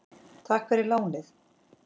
Takk fyrir lánið!